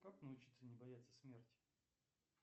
как научиться не бояться смерти